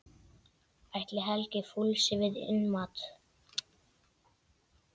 Ætli Helgi fúlsi við innmat?